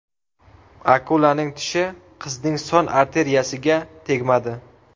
Akulaning tishi qizning son arteriyasiga tegmadi.